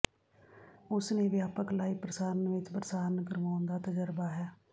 ਉਸ ਨੇ ਵਿਆਪਕ ਲਾਈਵ ਪ੍ਰਸਾਰਨ ਵਿਚ ਪ੍ਰਸਾਰਣ ਕਰਵਾਉਣ ਦਾ ਤਜਰਬਾ ਹੈ